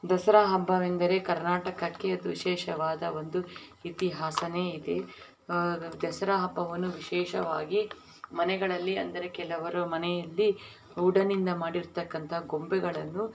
ದಸರಾ ಹಬ್ಬವೆಂದರೇ ಕರ್ನಾಟಕ್ಕೆ ಅದು ವಿಶೇಷವಾದ ಒಂದು ಇತಿಹಾಸನೆ ಇದೆ ಆ ದಸರಾ ಹಬ್ಬವನ್ನು ವಿಶೇಷವಾಗಿ ಮನೆಹಳ್ಳಿ ಅಂದರೆ ಕೆಲವರ ಮನೆಹಳ್ಳಿ ಗೋರ್ಡೆನ್ ಇಂದ ಮಾಡಿರುತಕ್ಕಂತ ಗೊಬ್ಬೆಗಳನ್ನು--